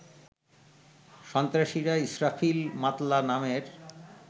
সন্ত্রাসীরা ইসরাফিল মাতলা নামের